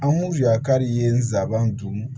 An mu yakari ye nsaaban don